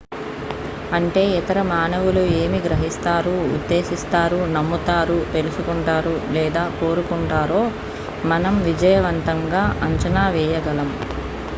అంటే ఇతర మానవులు ఏమి గ్రహిస్తారు ఉద్దేశిస్తారు నమ్ముతారు తెలుసుకుంటారు లేదా కోరుకుంటారో మనం విజయవంతంగా అంచనా వేయగలం